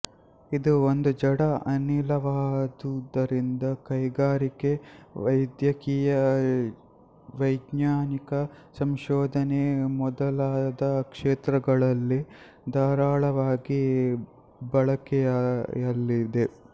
ಇದು ಒಂದು ಜಡ ಅನಿಲವಾದುದರಿಂದ ಕೈಗಾರಿಕೆ ವೈದ್ಯಕೀಯ ವೈಜ್ಞಾನಿಕ ಸಂಶೋಧನೆ ಮೊದಲಾದ ಕ್ಷೇತ್ರಗಳಲ್ಲಿ ಧಾರಾಳವಾಗಿ ಬಳಕೆಯಲ್ಲಿದೆ